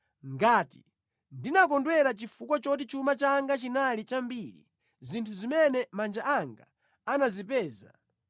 ngati ndinakondwera chifukwa choti chuma changa chinali chambiri, zinthu zimene manja anga anazipeza,